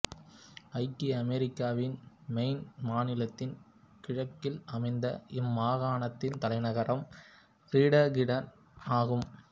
ஐக்கிய அமெரிக்காவின் மெய்ன் மாநிலத்தின் கிழக்கில் அமைந்த இம்மாகாணத்தின் தலைநகரம் ஃபிரெடெரிக்டன் ஆகும்